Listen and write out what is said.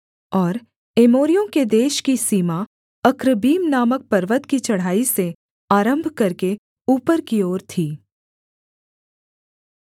और एमोरियों के देश की सीमा अक्रब्बीम नामक पर्वत की चढ़ाई से आरम्भ करके ऊपर की ओर थी